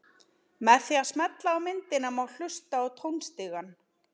Með því að smella á myndina má hlusta á tónstigann.